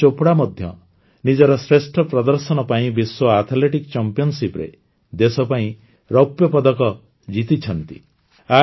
ନୀରଜ ଚୋପ୍ରା ମଧ୍ୟ ନିଜର ଶ୍ରେଷ୍ଠ ପ୍ରଦର୍ଶନ ପାଇଁ ବିଶ୍ୱ ଆଥଲେଟିକ୍ ଚାମ୍ପିଅନସିପରେ ଦେଶ ପାଇଁ ରୌପ୍ୟପଦକ ଜିତିଛନ୍ତି